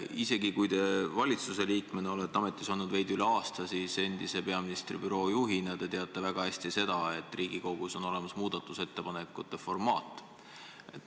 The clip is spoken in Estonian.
Isegi kui te valitsuse liikmena olete ametis olnud veidi üle aasta, siis peaministri büroo endise juhina te teate väga hästi, et Riigikogus on olemas muudatusettepanekute formaat.